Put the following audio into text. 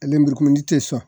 A lemurukumuni te sɔn